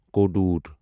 کودوٗر